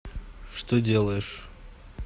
что делаешь